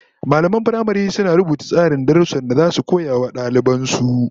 Mallaman firamare suna rubuta tsarin darussan da zasu koya wa daliban su